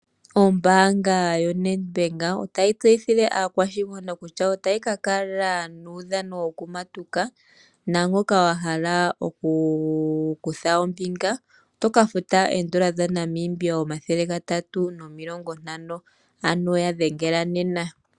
Ombaanga yoNedbank otayi tseyithile aakwashigwana kutya, otayi ka kala nuudhano wokumatuka. Naangoka wa hala oku kutha ombinga, oto ka futa oN$350. Ya dhengela nena.